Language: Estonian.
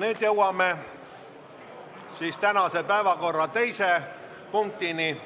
Nüüd jõuame tänase päevakorra teise punktini,